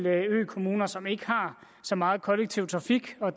økommuner som ikke har så meget kollektiv trafik og